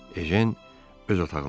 Ejen öz otağındaydı.